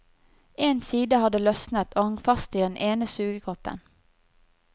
En side hadde løsnet og hang fast i den ene sugekoppen.